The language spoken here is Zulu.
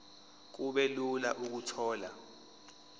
kube lula ukuthola